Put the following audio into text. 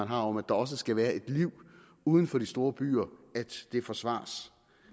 har om at der også skal være et liv uden for de store byer forsvares